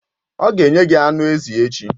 Ọ ga-enye gị anụ ezi echi.